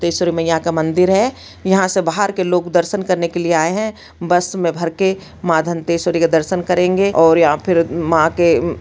तेश्वरी मइया का मंदिर है यहाँ से बाहर के लोग दर्शन करने के लिए आए है बस मे भर के माँ दंतेश्वरी के दर्शन करेंगे और या फिर माँ के--